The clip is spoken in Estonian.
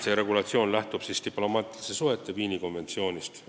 See regulatsioon lähtub diplomaatiliste suhete Viini konventsioonist.